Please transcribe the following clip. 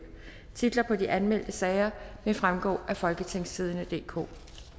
titlerne på de anmeldte sager vil fremgå af folketingstidende DK